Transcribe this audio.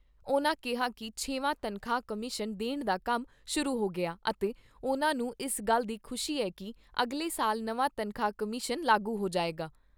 ਉਨ੍ਹਾਂ ਕਿਹਾ ਕਿ ਛੇਵਾਂ ਤਨਖਾਹ ਕਮਿਸ਼ਨ ਦੇਣ ਦਾ ਕੰਮ ਸ਼ੁਰੂ ਹੋ ਗਿਆ ਅਤੇ ਉਨ੍ਹਾਂ ਨੂੰ ਇਸ ਗੱਲ ਦੀ ਖੁਸ਼ੀ ਐ ਕਿ ਅਗਲੇ ਸਾਲ ਨਵਾਂ ਤਨਖਾਹ ਕਮਿਸ਼ਨ ਲਾਗੂ ਹੋ ਜਾਏਗਾ।